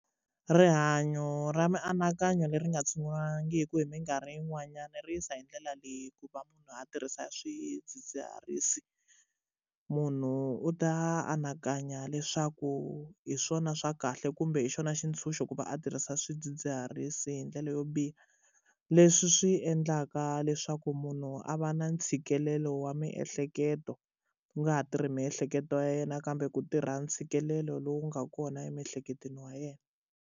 Rihanyo ra mianakanyo leri nga tshunguriwangiki hi mikarhi yin'wanyani ri yisa hi ndlela leyi ku va munhu a tirhisa swidzidziharisi munhu u ta anakanya leswaku hi swona swa kahle kumbe hi xona xintshunxo ku va a tirhisa swidzidziharisi hi ndlela yo biha leswi swi endlaka leswaku munhu a va na ntshikelelo wa miehleketo ku nga ha tirhi miehleketo ya yena kambe ku tirha ntshikelelo lowu nga kona emiehleketweni wa yena.